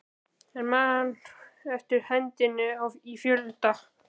Ég man eftir hendinni í fjölda